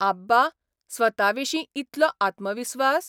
आब्बा, स्वताविशीं इतलो आत्मविस्वास?